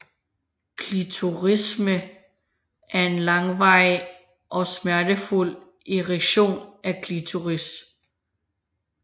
Klitorisme er en langvarig og smertefuld erektion af klitoris